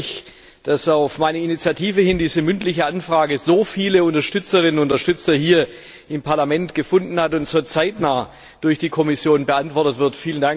Ich freue mich, dass auf meine Initiative hin diese mündliche Anfrage so viele Unterstützerinnen und Unterstützer hier im Parlament gefunden hat und sie so zeitnah durch die Kommission beantwortet wird.